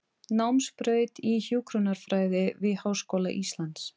Námsbraut í hjúkrunarfræði við Háskóla Íslands.